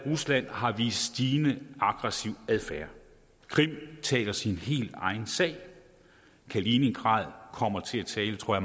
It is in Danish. rusland har vist stigende aggressiv adfærd krim taler sin helt egen sag kaliningrad kommer til at tale tror